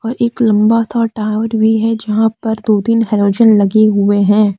और एक लंबा सा टावर भी है जहां पर दो तीन हैलोजन लगे हुई है।